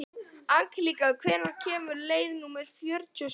Angelíka, hvenær kemur leið númer fjörutíu og sjö?